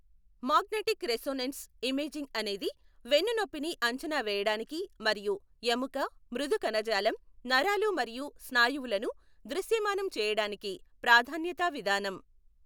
Magnetic resonance imaging అనేది వెన్నునొప్పిని అంచనా వేయడానికి మరియు ఎముక, మృదు కణజాలం, నరాలు మరియు స్నాయువులను దృశ్యమానం చేయడానికి ప్రాధాన్యతా విధానం.